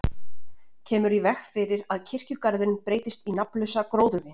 Kemur í veg fyrir að kirkjugarðurinn breytist í nafnlausa gróðurvin.